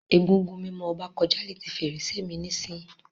Egúngún mimo Oba koja leti ferese mi nisiyi.